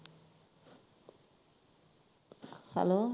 hello